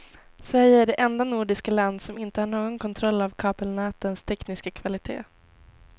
Sverige är det enda nordiska land som inte har någon kontroll av kabelnätens tekniska kvalitet.